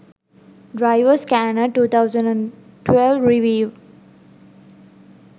driver scanner 2012 review